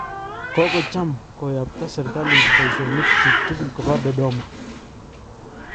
kokocham koyaypta serikalit baishonik chik tugul koba Dodoma